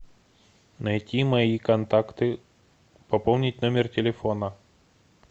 найти мои контакты пополнить номер телефона